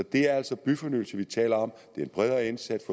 det er altså byfornyelse vi taler om det er en bredere indsats